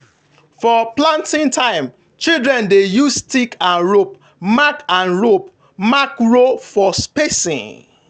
for planting time children dey use stick and rope mark and rope mark row for spacing.